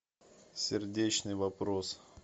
сердечный вопрос